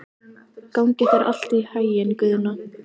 Gangi þér allt í haginn, Guðna.